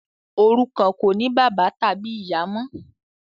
òrukàn kò ní bàbá tàbí ìyá mọ.